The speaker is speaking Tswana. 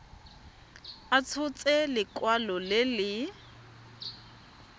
a tshotse lekwalo le le